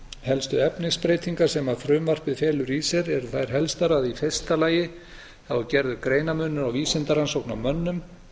helstu efnisbreytingar sem frumvarpið felur í sér eru þær helstu að í fyrsta lagi er gerður greinarmunur á vísindarannsóknum á mönnum